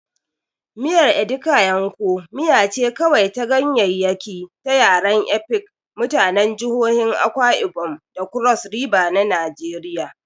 Miyar Edikaikong miya ce kawai ta ganyaryaki ta yaren Efik, mutanen jihohin Akwa Ibom da Cross River na Najeriya.